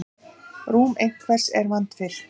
Rúm einhvers er vandfyllt